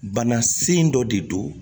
Bana sen dɔ de don